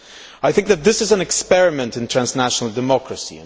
I think that this is an experiment in transnational democracy.